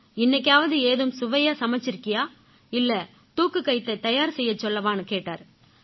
இன்னைக்காவது ஏதும் சுவையா சமைச்சிருக்கியா இல்லை தூக்குக்கயித்தைத் தயார் செய்யச் சொல்லவான்னு கேட்டாரு